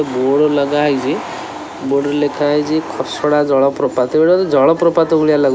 ଏ board ଲଗା ହେଇଚି board ରେ ଲେଖା ହେଇଚି ଖସଡ଼ା ଜଳପ୍ରପାତ ଏଟା ତ ଜଳ ପ୍ରପାତ ଭଳି ଲାଗୁ --